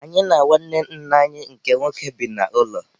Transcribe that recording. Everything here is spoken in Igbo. Anyị na nwanne nna anyi nke nwoke bi n'ụlọ.